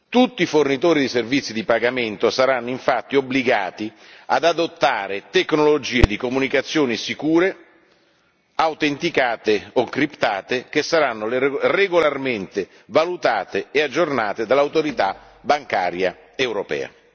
Tutti i fornitori di servizi di pagamento saranno infatti obbligati ad adottare tecnologie di comunicazioni sicure, autenticate o criptate, che saranno regolarmente valutate e aggiornate dall'Autorità bancaria europea.